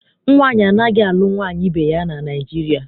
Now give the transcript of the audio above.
Nwaanyị anaghị alụ nwaanyị ibe ya na Naịjirịa.